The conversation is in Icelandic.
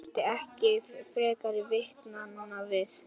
Það þurfti ekki frekari vitnanna við.